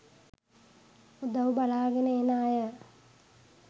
උදව් බලාගෙන එන අය